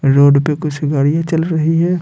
Road पे कुछ गाड़ियां चल रही है।